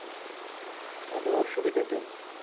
তাহলে অসুবিধে তা নেই।